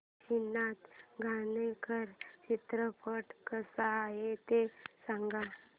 काशीनाथ घाणेकर चित्रपट कसा आहे ते सांग